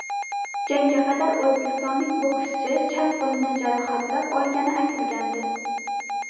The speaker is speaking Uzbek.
Jangga qadar o‘zbekistonlik bokschi chap qo‘lini jarohatlab olgani aytilgandi.